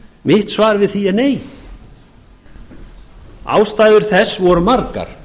mitt svar við því er nei ástæður þess voru margar